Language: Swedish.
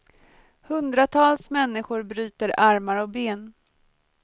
Hundratals människor bryter armar och ben.